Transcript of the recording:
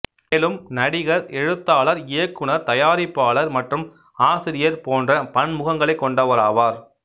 மேலும் நடிகர் எழுத்தாளர் இயக்குநர் தயாரிப்பாளர் மற்றும் ஆசிரியர் போன்ற பன்முகங்களைக் கொண்டவர் ஆவார்